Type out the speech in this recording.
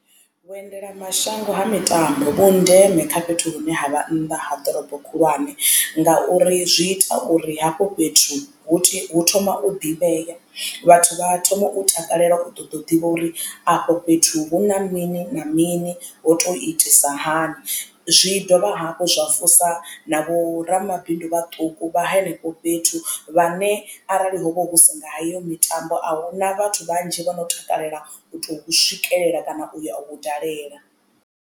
Vhuendelamashango ha mitambo vhu ndeme kha fhethu hune ha vha nnḓa ha ḓorobo khulwane ngauri zwi ita uri hafho fhethu hu thoma u ḓivhea vhathu vha thoma u takalela u ṱoḓa u ḓivha uri afho fhethu hu na mini na mini ho to itisa hani. Zwi dovha hafhu zwa thusa na vho ramabindu vhaṱuku vha henefho fhethu vhane arali hovha husi nga heyo mitambo ahuna vhathu vhanzhi vhono takalela u tou swikelela kana u ya u hu dalela.